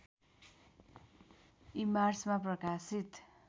ईमार्चमा प्रकाशित